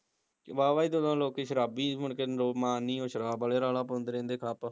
ਵਾਵਾਂ ਈ ਜਦੋਂ ਲੋਕੀ ਸ਼ਰਾਬੀ ਮੁੜ ਕੇ ਉਹ ਮਾਣ ਨੀ ਉਹ ਸ਼ਰਾਬ ਆਲੇ ਰੌਲਾ ਪਾਉਂਦੇ ਰਹਿੰਦੇ ਖਪ